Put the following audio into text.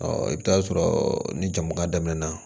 i bɛ t'a sɔrɔ ni jama dan na